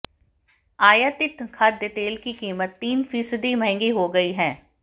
आयातित खाद्य तेल की कीमत तीन फीसदी महंगी हो गई है